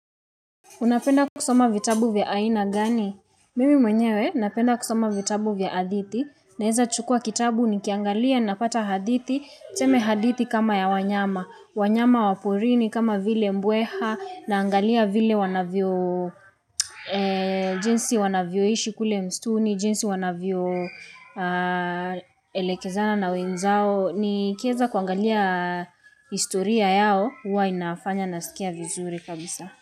Unapenda kusoma vitabu vya aina gani? Mimi mwenyewe, napenda kusoma vitabu vya hadhiti. Naweza chukua kitabu, nikiangalia, napata hadithi, tuseme hadithi kama ya wanyama. Wanyama wa porini kama vile mbweha, naangalia vile wanavyo, jinsi wanavyoishi kule msituni, jinsi wanavyo elekezana na wenzao. Nikiweza kuangalia historia yao, huwa inafanya nasikia vizuri kabisa.